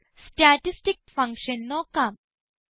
ഇപ്പോൾ statistic functions നോക്കാം